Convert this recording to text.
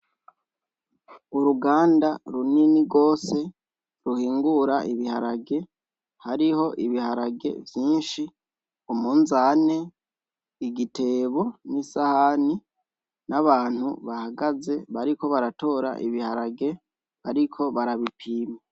Uruganda rinini gose ruhingura ibiharage hariho ibiharage vyinshi ,umunzante, igitebo , isahani n’abantu bahagaze bariko baratora ibiharage bariko barabipima.